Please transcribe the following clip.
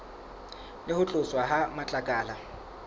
le ho tloswa ha matlakala